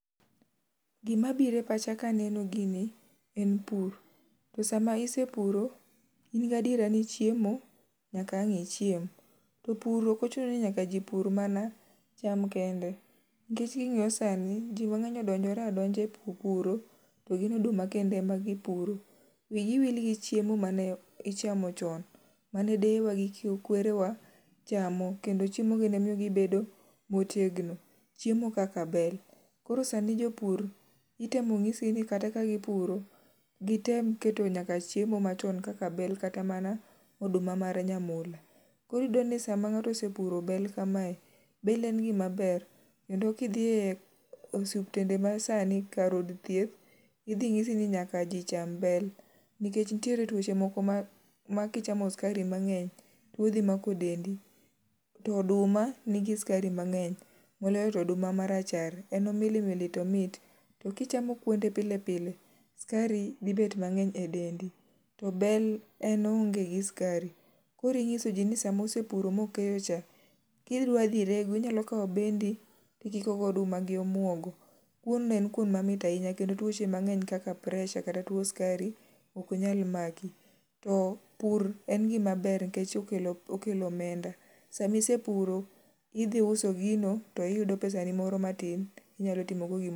Gima biro e pacha ka aneno gini en pur. To sama isepuro in gi adiera ni chiemo nyaka ang' ichiem. To pur ok ochuno ni ji nyaka pur mana cham kende nikech ka ing'iyo sani ji mang'eny odonjore adonja e puro to gin oduma kende ema gipuro. Wi gi wil gichiemo mane ichamo chon. Mane deyewa gi kwerewa chamo kendo chiemogi ne miyo gibedo motegno ber. Koro sani jopur itemo nyisgi koro sani ka gipuro to gitem keto chiemo machon kaka bel kata mana oduma mar nyamula. Koro iyudo ni sama ng'ato osepuro bel kamae, bel en gima ber kendo ka idhi e osiptende ma sani kar od thieth idhi nyisi ni nyaka ji cham bel. Nikech nitiere tuoche moko ma ma kichamo sikari mang'eny, tuo dhi mako dendi. To oduma nigi sukari mang'eny. Moloyo to oduma marachar, en omilimili to omit to kichamokunde pile pile to sukari dhi bet mang'eny edendi. Koro inyisoji ni sama osepuro ma osekeyocha, kidwa dhi rego inyalo kawo bendi to ikiko gi oduma gi omuogo. Kuon no en kuon mamit ahinya kendo tuoch emang'eny kaka presa kata tuo sikariok nyal maki. Pur en gima ber nikech kelo omenda. Sama isepuro idhi uso gino to iyudo pesani oro matin minyalo timogo gimoro